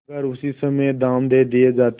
अगर उसी समय दाम दे दिये जाते